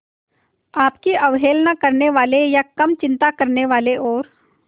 आपकी अवहेलना करने वाले या कम चिंता करने वाले और